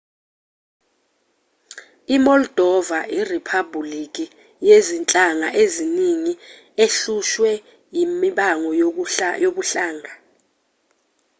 i-moldova iriphabhuliki yezinhlanga eziningi ehlushwe imibango yobuhlanga